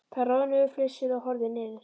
Þær roðnuðu, flissuðu og horfðu niður.